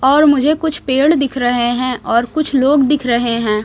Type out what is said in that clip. और मुझे कुछ पेड़ दिख रहे हैं और कुछ लोग दिख रहे हैं।